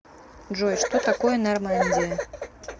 джой что такое нормандия